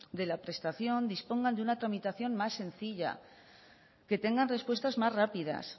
de la prestación dispongan de una tramitación más sencilla que tengan respuestas más rápidas